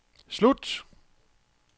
slut